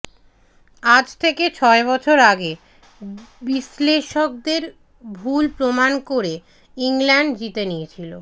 আজ থেকে ছয় বছর আগে বিশ্লেষকদের ভুল প্রমাণ করে ইংল্যান্ড জিতে নিয়েছিল